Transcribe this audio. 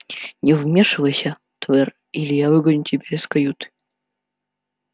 не вмешивайся твер или я выгоню тебя из каюты